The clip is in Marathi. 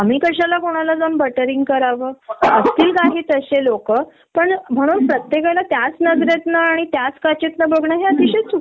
तेव्हा सरळ हाथ वर करतात बाईंनी काही संगीतलच नव्हत मी तर प्रोजेक्ट यांनच्या कडे घेऊन गेलो होतो. आम्ही सांगितलेले चेंजेस आमच्या समोर तरी केले असतात